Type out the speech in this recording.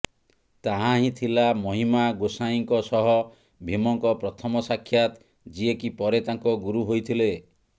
ତାହା ହିଁ ଥିଲା ମହିମା ଗୋସାଇଁଙ୍କ ସହ ଭୀମଙ୍କ ପ୍ରଥମ ସାକ୍ଷାତ ଯିଏକି ପରେ ତାଙ୍କ ଗୁରୁ ହୋଇଥିଲେ